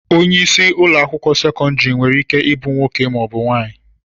Onye isi ụlọakwụkwọ sekọndịrị nwereike ibu nwoke maọbụ nwaanyị